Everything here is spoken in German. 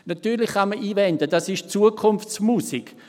Natürlich kann man einwenden, das sei Zukunftsmusik.